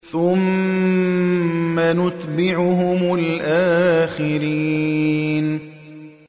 ثُمَّ نُتْبِعُهُمُ الْآخِرِينَ